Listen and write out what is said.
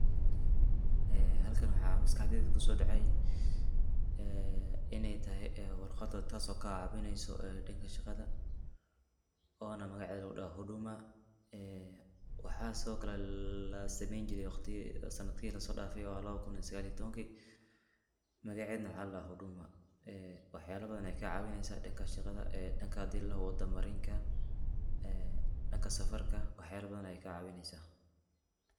Ee halkan waxaa maskaxdeyda kuso dhacay inay tahay warqada taaso ka caawineyso dhanka sheqada ona magaceeda ladhoho Huduma ee waxaa sidokale lasameeyni jire waqtiyihii ama sanadihii lasoo dhafee laba kun iyo sagal iyo tobanki, magaced na waxaa ladhaha huduma, ee waxyala badan ayay kaa caawineysa dhanka shaqada, dhanka hadii ladhoho wada marinka, ee dhanka safarka, wax yala badan ayay kaa caawineysa